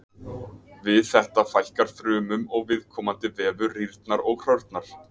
Við þetta fækkar frumum og viðkomandi vefur rýrnar og hrörnar.